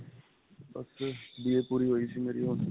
ਬੱਸ. BA ਪੂਰੀ ਹੋਈ ਸੀ ਮੇਰੀ ਹੁਣ.